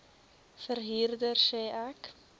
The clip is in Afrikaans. verhuurder sê ek